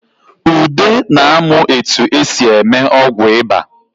Ude na-amụ etu e si eme ọgwụ ịba